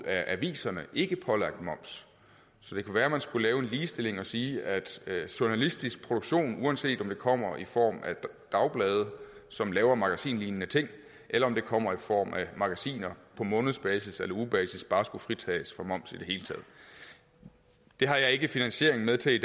aviserne ikke pålagt moms så det kunne være man skulle lave en ligestilling og sige at journalistisk produktion uanset om den kommer i form af dagblade som laver magasinlignende ting eller om den kommer i form af magasiner på månedsbasis eller ugebasis bare skulle fritages for moms i det hele taget det har jeg ikke finansieringen med til i